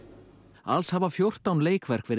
alls hafa fjórtán leikverk verið